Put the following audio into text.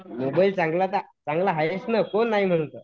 Mobile चांगला तर आहेच नं कोण नाही म्हणतं.